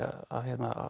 að